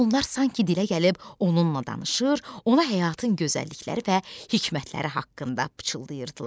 Bütün bunlar sanki dilə gəlib onunla danışır, ona həyatın gözəllikləri və hikmətləri haqqında pıçıldayırdılar.